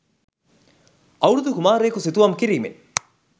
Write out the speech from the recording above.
අවුරුදු කුමාරයකු සිතුවම් කිරීමෙන්